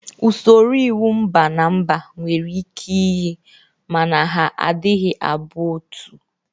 Usoro iwu mba na mba nwere ike iyi ma na ha anaghị abụ otu.